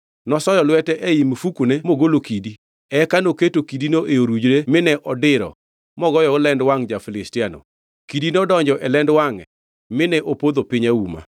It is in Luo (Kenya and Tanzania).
Nosoyo lwete ei mifukune mogolo kidi; eka noketo kidino e orujre mine odiro mogoyogo lend wangʼ ja-Filistiano. Kidi nodonjo e lend wangʼe mine opodho piny auma.